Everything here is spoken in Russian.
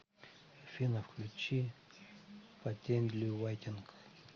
афина включи патентли вайтинг